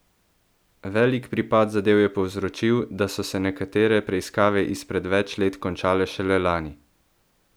Velik pripad zadev je povzročil, da so se nekatere preiskave izpred več let končale šele lani.